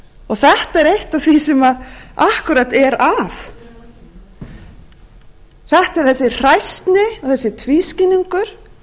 þetta er eitt af því sem akkúrat er að þetta er þessi hræsni og þessi tvískinnungur og þetta